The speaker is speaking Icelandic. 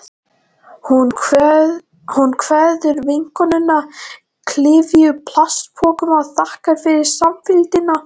Hún kveður vinkonuna, klyfjuð plastpokum, og þakkar fyrir samfylgdina.